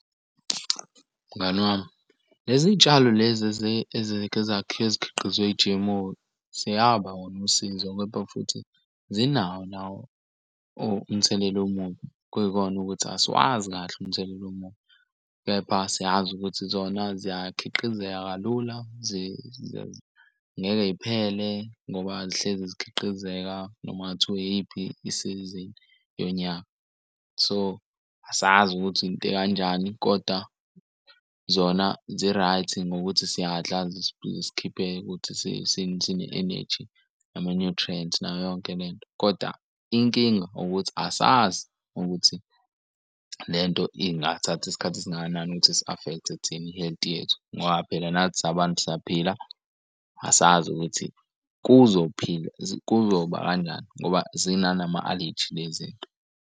Mngani wami lezi tshalo lezi ezikhiqizwe i-G_M_O seyaba wona usizo kodwa futhi zinawo nawo umthelela omubi. Kuyikona ukuthi asiwazi kahle umthelela omubi, kepha siyazi ukuthi zona ziyakhiqinizeka kalula, ngeke yiphele ngoba zihlezi zikhiqizeka noma kungathiwa iyiphi isizini yonyaka. So asazi ukuthi into ekanjani koda zona zi-right ngokuthi siyadla zisikhiphe ukuthi sine-eneji ama-nutrients nayo yonke le nto, kodwa inkinga ukuthi asazi ukuthi le nto ingathatha isikhathi esingakanani ukuthi isi-affect-e thina i-health yethu. Ngoba phela nathi sabantu siyaphila asazi ukuthi kuzophila kuzoba kanjani ngoba zinanama-aleji lezi nto.